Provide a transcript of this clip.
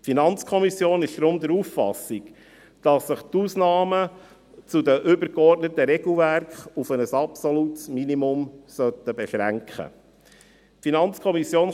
Die FiKo ist deshalb der Auffassung, dass sich die Ausnahmen zu den übergeordneten Regelwerken auf ein absolutes Minimum beschränken sollten.